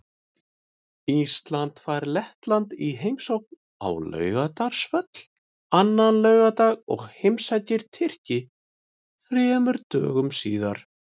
Ísland fær Lettland í heimsókn á Laugardalsvöll annan laugardag og heimsækir Tyrki þremur dögum síðar.